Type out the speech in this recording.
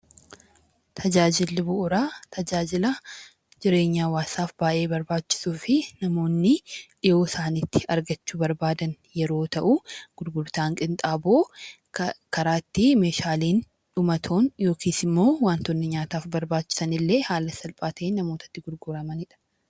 Tajaajila bu'uuraa tajaajila jireenyaaf baayyee barbaachisuu fi namoonni dhihoo isaaniitti argachuu barbaadan yeroo ta'u, gurgurtaan qinxaaboo karaa ittiin waantonni nyaataaf barbaachisan illee haala salphaa ta'een namootaatti gurguramanidha.